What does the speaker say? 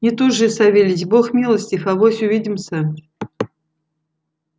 не тужи савельич бог милостив авось увидимся